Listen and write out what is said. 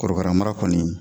Korokara mara kɔni